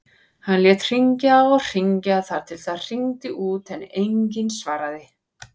Hann lét hringja og hringja þar til það hringdi út en enginn svaraði.